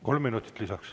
Kolm minutit lisaks.